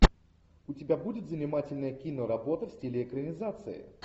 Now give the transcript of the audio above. у тебя будет занимательная киноработа в стиле экранизации